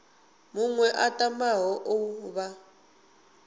muṅwe a tamaho u vha